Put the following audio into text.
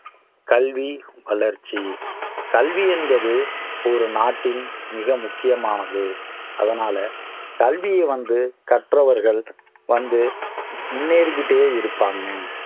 கல்வி வளர்ச்சி கல்வி என்பது ஒரு நாட்டின் மிக முக்கியமானது அதனால கல்விய வந்து கற்றவர்கள் வந்து முன்னேறி கிட்டே இருப்பாங்க